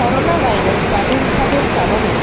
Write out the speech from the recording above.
coronavirus প্রাদুর্ভাবের কারণে